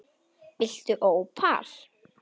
Viltu ópal?